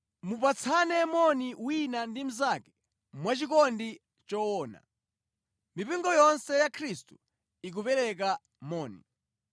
Mupatsane moni wina ndi mnzake mwachikondi choona. Mipingo yonse ya Khristu ikupereka moni.